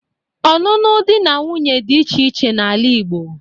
ọnụnụ di na nwunye dị iche iche n'ala Igbo.